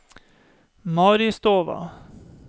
Maristova